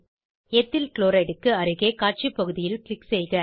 ethyl chloride க்கு அருகே காட்சி பகுதியில் க்ளிக் செய்க